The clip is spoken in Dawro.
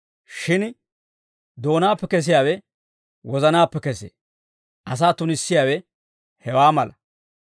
Shin doonaappe kesiyaawe wozanaappe kesee; asaa tunissiyaawe hewaa malaa.